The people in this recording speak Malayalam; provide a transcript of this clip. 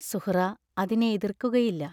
സുഹ്റാ അതിനെ എതിർക്കുകയില്ല.